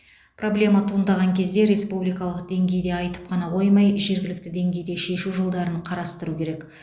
проблема туындаған кезде республикалық деңгейде айтып қана қоймай жергілікті деңгейде шешу жолдарын қарастыру керек